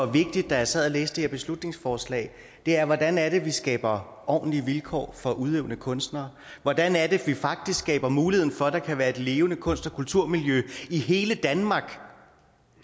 vigtigt da jeg sad og læste det her beslutningsforslag er hvordan vi skaber ordentlige vilkår for udøvende kunstnere og hvordan vi faktisk skaber muligheden for at der kan være et levende kunst og kulturmiljø i hele danmark